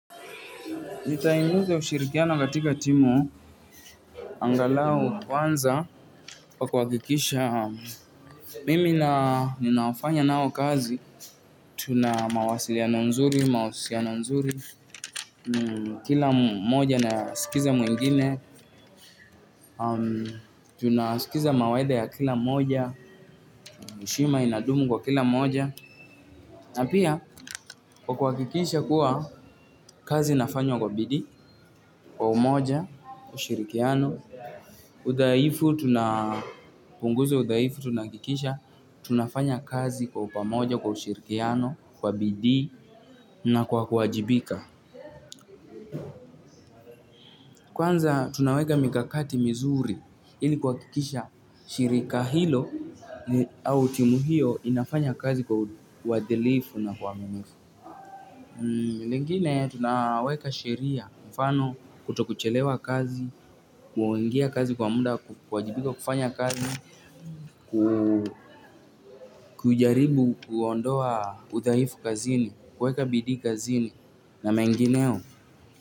Nitainuza ushirikiano katika timu angalau kwanza kwa kuhakikisha mimi na ninaofanya nao kazi. Tuna mawasiliano mazuri, mahusiano mazuri, kila mmoja anasikiliza mwingine. Tunasikiliza mawaidha ya kila mmoja, heshima inadumu kwa kila mmoja. Napia kwa kuhakikisha kuwa kazi inafanywa kwa bidii, kwa umoja, ushirikiano udhaifu tunapunguza udhaifu tuna hakikisha tunafanya kazi kwa pamoja, kwa ushirikiano, kwa bidii na kwa kuwajibika kwanza tunaweka mikakati mizuri ili kuhakikisha shirika hilo au timu hiyo inafanya kazi kwa uadilifu na kwa uaminifu lingine tunaweka sheria, mfano, kutochelewa kazi, kuingia kazi kwa muda, kuwajibika, kufanya kazi, kujaribu kuondoa udhaifu kazini, kueka bidii kazini na mengineo.